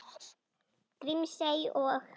Grímsey og